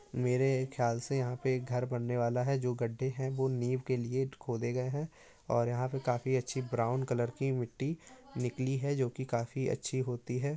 मेरे ख्याल से यहाँ पे एक घर बनने वाला है जो गड्ढ़े है वो नीव के लिए खोदे गए है और यहाँ पर काफी अच्छी ब्राउन कलर की मिट्टी निकली है जोकि काफी अच्छी होती है।